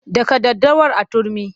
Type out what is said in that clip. Daka daddawar a turmi!